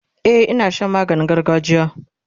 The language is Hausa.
e Ina Shan maganin gargajiya